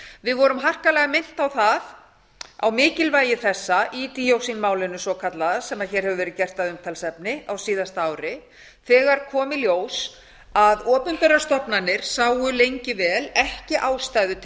við vorum harkaleg minnt á það á mikilvægi þessa í díoxínmálinu svokallaða sem hér hefur verið gert að umtalsefni á síðasta ári þegar kom í ljós að opinberar stofnanir sáu lengi vel ekki ástæðu til